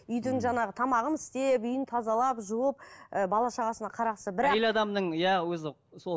үйдің жаңағы тамағын істеп үйін тазалап жуып ы бала шағасына қарағысы бірақ әйел адамның иә өзі сол